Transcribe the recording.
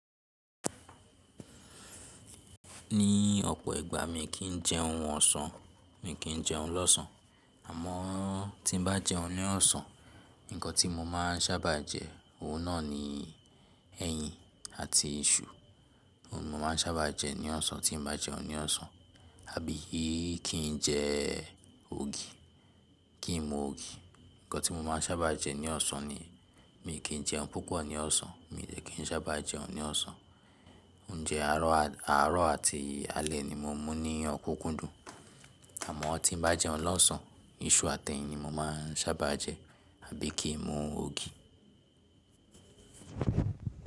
Ní ọ̀pọ̀ ìgbà mi kì í jẹun ọ̀sán, mi kì í jẹun lọ́sàn. Àmọ́ tí n bá jẹun ní ọ̀sán, ǹkan tí mo máa ń sábà jẹ, ohun náà ni ẹyin àti iṣu. Ohun mi máa ń sábà jẹ ní ọ̀sán tí n bá jẹun ní ọ̀sán àbí kì í jẹ ogi, kì í mu ogi. Ǹkan tí mo máa ń sábà jẹ ní ọ̀sán ni mi kì í jẹun púpọ̀ ní ọ̀sán, mi ò kí ń sábà jẹun ní ọ̀sán. Oúnjẹ àárọ̀ àti alẹ́ ni mo mú ní ọ̀kúnkúndùn. Àmọ́ tí n bá jẹun lọ́sán, iṣu àti ẹyin mo máa ń sábà jẹ àbí kì í mu ogi.